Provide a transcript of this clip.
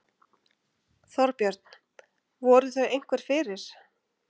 Þorbjörn: Voru þau einhver fyrir?